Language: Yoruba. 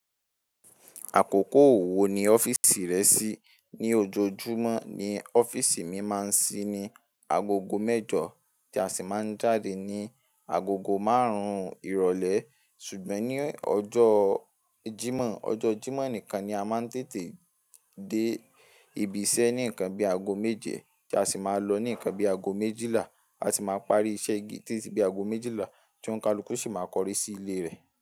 Àkókò wò ni ọ́fíìsì rẹ ṣí, ní ojoojúmọ́ ni ọ́fíìsì mi máa ń ṣí ní agogo mẹ́jọ, tí a sì máa ń jáde ní agogo máàrùn ìrọ́lẹ́. Ṣùgbọ́n ní ọjọ́ jímọ̀, ọjọ́ jímọ̀ nìkan ni a máa ń tètè dé ibi iṣẹ́ ní nkan bí aago méje tí a sì máa lọ ní nkan bíi aago méjìlá. A sì máa parí iṣẹ́ di títí bí aago méjìlá tí ọ̀nkàlù sì máa kọrí sí ilé rẹ̀.